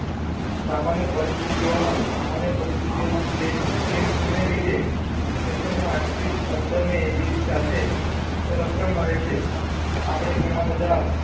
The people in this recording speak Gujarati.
સામાન્ય પરિસ્થિતિ ઓમ સામાન્ય પરિસ્થી માં સલેટ્સ ને લીધે જઠરમાં આંતરિક અખબર ને એસિડ સાથે રક્ષણ મળે છે આપણે ઘણા બધા